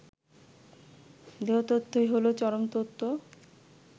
দেহতত্ত্বই হলো চরমতত্ত্ব